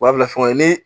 U b'a bila fɛngɛ ye ni